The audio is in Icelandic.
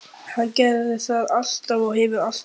Hann gerði það alltaf og hefur alltaf gert.